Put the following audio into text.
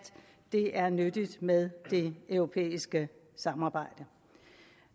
det er nyttigt med det europæiske samarbejde